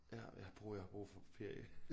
Ja jeg bruger jeg har brug for ferie